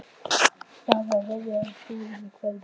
Það er verið að loka búðunum í hverfinu.